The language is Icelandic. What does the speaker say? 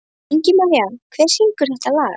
Ingimaría, hver syngur þetta lag?